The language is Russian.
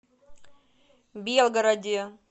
белгороде